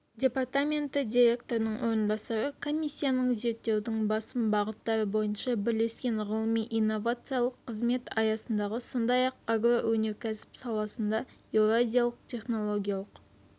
департаменті директорының орынбасары комиссияның зерттеудің басым бағыттары бойынша бірлескен ғылыми-инновациялық қызмет аясындағы сондай-ақ агроөнеркәсіп саласында еуразиялық технологиялық